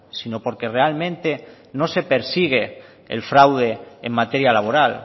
sino porque realmente no se persigue el fraude en materia laboral